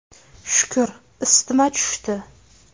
Shukr, isitma tushdi.